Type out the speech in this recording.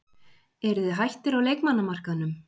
Eruð þið hættir á leikmannamarkaðnum?